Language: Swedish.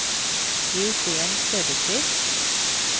Eugen Söderqvist